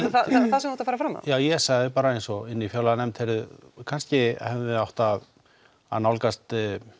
það sem þú ert að fara fram á já ég sagði bara eins og inn í fjárlaganefnd kannski hefðuð þið átt að að nálgast